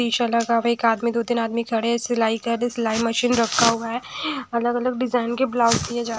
शीशा लगा हुआ व एक आदमी दो तीन आदमी खड़े है सिलाई कर रहे हैं सिलाई मशीन रखा हुआ हैं अलग अलग डिजाइन के ब्लाउज सिले जा--